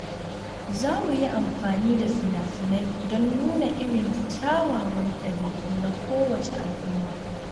Za mu yi amfani da fina-finai don nuna irin kyawawan dabi’u na kowace al’umma.